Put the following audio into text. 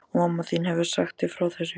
Og mamma þín hefur sagt þér frá þessu?